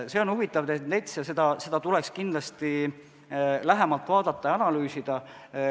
See on huvitav tendents ja seda tuleks kindlasti lähemalt vaadata ja analüüsida.